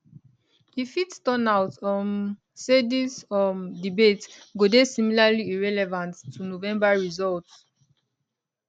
e fit turn out um say dis um debate go dey similarly irrelevant to november results